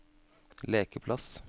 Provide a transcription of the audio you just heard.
lekeplass